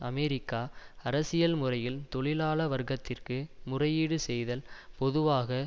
America அரசியல் முறையில் தொழிலாள வர்க்கத்திற்கு முறையீடு செய்தல் பொதுவாக